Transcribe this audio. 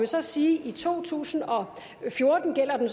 så sige at i to tusind og fjorten gælder den